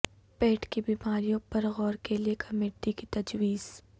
پیٹ کی بیماریوں پر غور کے لیئے کمیٹی کی تجویز